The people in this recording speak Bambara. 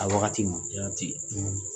A waati ma jaati